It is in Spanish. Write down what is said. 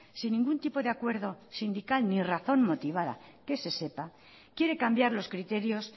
sin ningún tipo de acuerdo sindical ni razón motivada que se sepa quiere cambiar los criterios